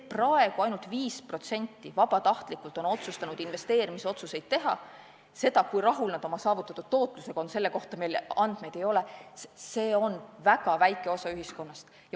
Praegu on ainult 5% otsustanud investeerimisotsuseid ise teha – selle kohta, kui rahul nad oma saavutatud tootlusega on, meil paraku andmeid ei ole – ja see on väga väike osa ühiskonnast.